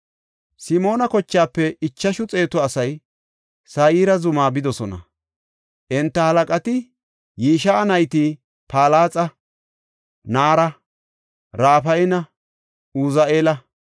Simoona kochaafe ichashu xeetu asay Sayre zuma bidosona. Enta halaqati Yishi7a nayta Palaxa, Naara, Rafayanne Uzi7eela.